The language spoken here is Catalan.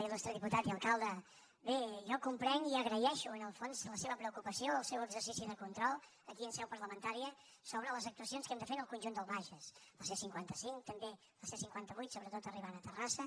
il·putat i alcalde bé jo comprenc i agraeixo en el fons la seva preocupació el seu exercici de control aquí en seu parlamentària sobre les actuacions que hem de fer en el conjunt del bages la c cinquanta cinc també la c cinquanta vuit sobretot arribant a terrassa